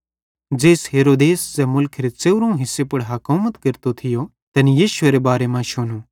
ज़ेइस हेरोदेस ज़ै मुलखेरे च़ेवरोवं हिस्से पुड़ हकोमत केरतो थियो तैनी यीशुएरे बारे मां शुनू